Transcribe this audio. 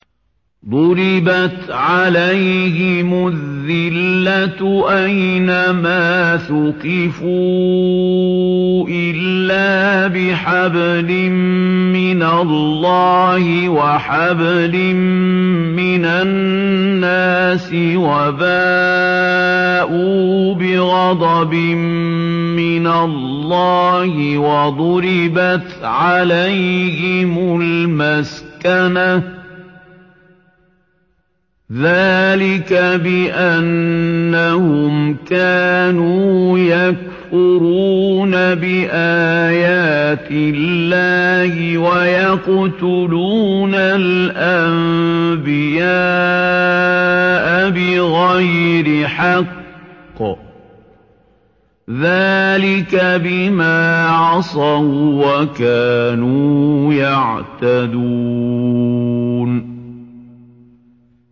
ضُرِبَتْ عَلَيْهِمُ الذِّلَّةُ أَيْنَ مَا ثُقِفُوا إِلَّا بِحَبْلٍ مِّنَ اللَّهِ وَحَبْلٍ مِّنَ النَّاسِ وَبَاءُوا بِغَضَبٍ مِّنَ اللَّهِ وَضُرِبَتْ عَلَيْهِمُ الْمَسْكَنَةُ ۚ ذَٰلِكَ بِأَنَّهُمْ كَانُوا يَكْفُرُونَ بِآيَاتِ اللَّهِ وَيَقْتُلُونَ الْأَنبِيَاءَ بِغَيْرِ حَقٍّ ۚ ذَٰلِكَ بِمَا عَصَوا وَّكَانُوا يَعْتَدُونَ